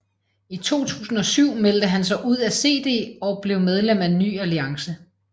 I 2007 meldte han sig ud af CD og blev medlem af Ny Alliance